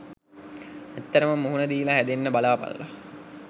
ඇත්තට මුහුණ දීලා හැදෙන්න බලාපල්ලා.